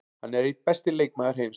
Hann er einn besti leikmaður heims.